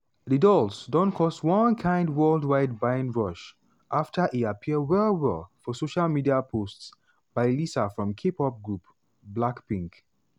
di dolls don cause one kain worldwide buying rush after e appear well-well for social media posts by lisa from k-pop group blackpink.